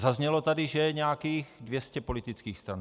Zaznělo tady, že je nějakých 200 politických stran.